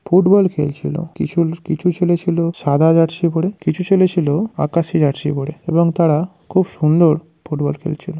Football খেলছিল। কিছু কিছু ছেলে ছিল সাদা জার্সি পরে। কিছু ছেলে ছিল আকাশি জার্সি পরে এবং তারা খুব সুন্দর ফুটবল খেলছিল।